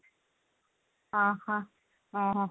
ଅ ହ